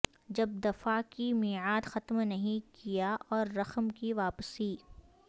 جب دفاع کی میعاد ختم نہیں کیا اور رقم کی واپسی